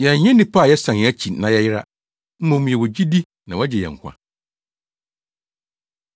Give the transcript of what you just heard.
Yɛnyɛ nnipa a yɛsan yɛn akyi na yɛyera. Mmom yɛwɔ gyidi na wɔagye yɛn nkwa.